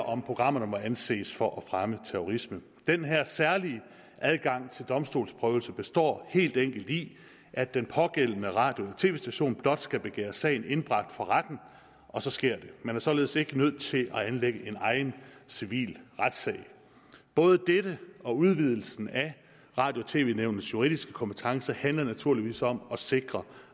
om programmer må anses for at fremme terrorisme den her særlige adgang til domstolsprøvelse består helt enkelt i at den pågældende radio eller tv station blot skal begære sagen indbragt for retten og så sker det man er således ikke nødt til at anlægge en egen civil retssag både dette og udvidelsen af radio og tv nævnets juridiske kompetence handler naturligvis om at sikre